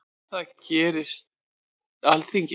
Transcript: Það gerir Alþingi.